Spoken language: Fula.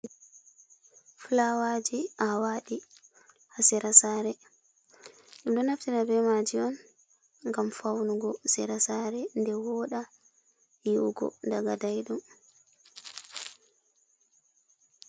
Flawaaji aawaɗi haa sera saare. Ɗum ɗo naftira be maaji on ngam faunugo sera saare, nde wooɗa yi’ugo daga daiɗum.